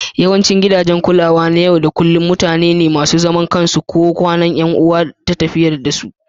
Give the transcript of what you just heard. Yawancin gidajen kulawa na yau da kullun mutane ne masu zaman kansu ko ƙananan 'yan kasuwa ke tafiyar da su